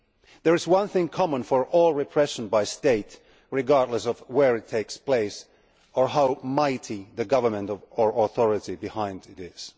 There is one thing common to all state repression, regardless of where it takes place or how mighty the government or authority behind it is.